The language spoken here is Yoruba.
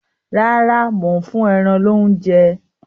Rárá, mò ń fún ẹran loúnjẹ